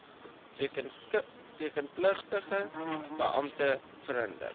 rekenpligtige beampte verhinder